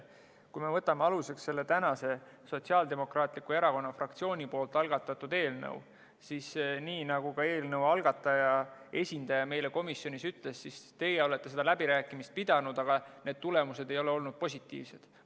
Kui me võtame aluseks selle tänase, Sotsiaaldemokraatliku Erakonna fraktsiooni eelnõu, siis nii nagu ka eelnõu algataja esindaja meile komisjonis ütles, siis teie olete neid läbirääkimisi pidanud, aga tulemused ei ole olnud positiivsed.